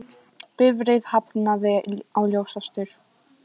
Bifreið hafnaði á ljósastaur